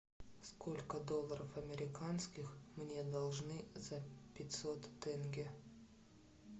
сколько долларов американских мне должны за пятьсот тенге